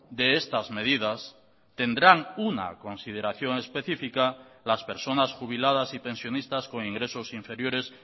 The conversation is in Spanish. de estas medidas tendrán una consideración específica las personas jubiladas y pensionistas con ingresos inferiores